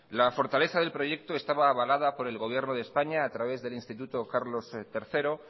la fortaleza del proyecto estaba avalada por el gobierno de españa a través del instituto carlos tercero